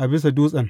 a bisa dutsen.